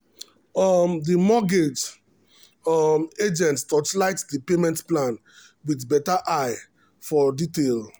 um the mortgage um agent torchlight the payment plan with better eye for detail. um